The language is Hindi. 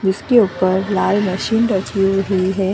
जिसके ऊपर लाल मशीन रखी हुई ही है।